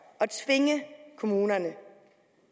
at tvinge kommunerne